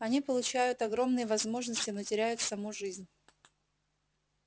они получают огромные возможности но теряют саму жизнь